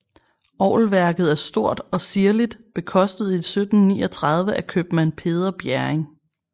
Orgelværket er stort og ziirligt bekostet 1739 af købmand Peder Bjerring